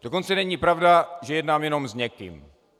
Dokonce není pravda, že jednám jenom s někým.